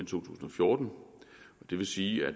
tusind og fjorten og det vil sige at